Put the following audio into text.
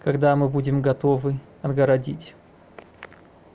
когда мы будем готовы отгородить